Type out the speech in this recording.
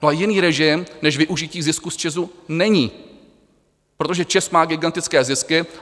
No a jiný režim než využití zisku z ČEZu není, protože ČEZ má gigantické zisky.